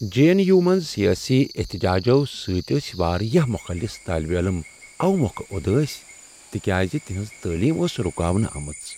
J N U منٛز سیٲسی احتجاجو سۭتۍ ٲسۍ واریاہ مخلص طٲلب علم اوٕ مۄکھٕ اداسۍ تِکیازِ تِہنٛز تعلیم ٲس رُکاونہٕ آمٕژ